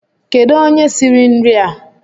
Kedu onye siri nria?